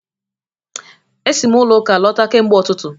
E si m ụlọ Ụka lọta kemgbe ụtụtụ